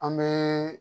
An bɛ